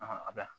a bɛ